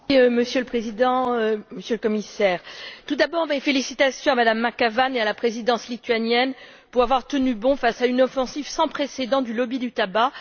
Monsieur le Président, Monsieur le Commissaire, tout d'abord mes félicitations à Mme McAvan et à la présidence lituanienne pour avoir tenu bon face à une offensive sans précédent du lobby du tabac.